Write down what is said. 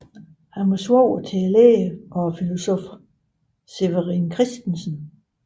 Han var svoger til lægen og filosoffen Severin Christensen